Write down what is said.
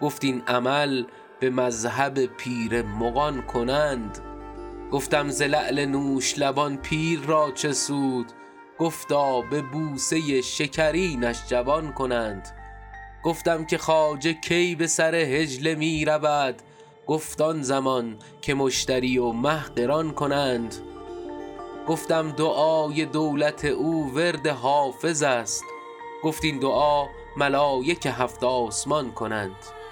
گفت این عمل به مذهب پیر مغان کنند گفتم ز لعل نوش لبان پیر را چه سود گفتا به بوسه شکرینش جوان کنند گفتم که خواجه کی به سر حجله می رود گفت آن زمان که مشتری و مه قران کنند گفتم دعای دولت او ورد حافظ است گفت این دعا ملایک هفت آسمان کنند